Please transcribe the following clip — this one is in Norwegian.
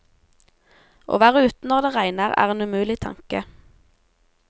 Å være ute når det regner, er en umulig tanke.